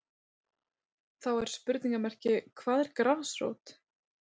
Þá er spurningamerki hvað er grasrót?